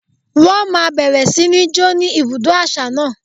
Wọ́n máa bẹ̀rẹ̀ sí ní ń jó ní ibùdó àṣà náà?